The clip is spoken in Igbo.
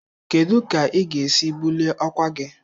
Kedu ka ị ga-esi bulie ọkwa gị?